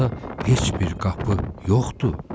Axı orada heç bir qapı yoxdur.